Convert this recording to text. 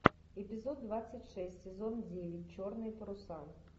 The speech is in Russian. эпизод двадцать шесть сезон девять черные паруса